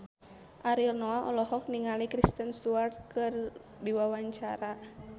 Ariel Noah olohok ningali Kristen Stewart keur diwawancara